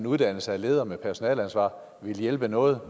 uddannelse af ledere med personaleansvar ville hjælpe noget